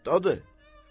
Kətdədir.